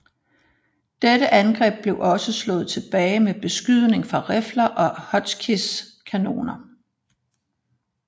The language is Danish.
Dette angreb blev også slået tilbage med beskydning fra rifler og Hotchkiss kanoner